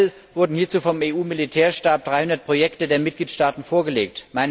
8. April wurden hierzu vom EU Militärstab 300 Projekte der Mitgliedstaaten vorgelegt.